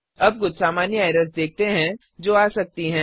अब कुछ सामान्य एरर्स देखते हैं जो आ सकती हैं